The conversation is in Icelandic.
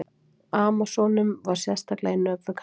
Amasónum var sérstaklega í nöp við karlmenn.